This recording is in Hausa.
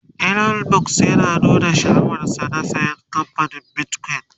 Elon Musk ya nuna sha'awar sa na saya kamfanin bitcoin